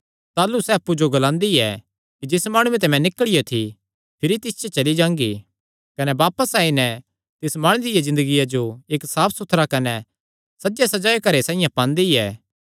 ताह़लू सैह़ अप्पु जो ग्लांदी ऐ कि जिस माणुये ते मैं निकल़ियो थी भिरी तिस च चली जांगी कने बापस आई नैं तिस माणुये दिया ज़िन्दगिया जो इक्क साफ सुथरा कने सजेसजायो घरे साइआं पांदी ऐ